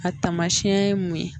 A tamasiɲɛ ye mun ye?